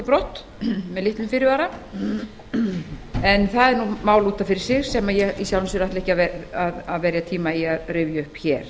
brott með litlum fyrirvara en það er mál út af fyrir sig sem ég ætla ekki að verja tíma í að rifja upp hér